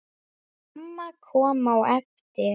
Mamma kom á eftir.